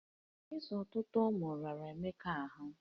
Ịzụ ọtụtụ ụwe riri ụmụaka Emeka ahụ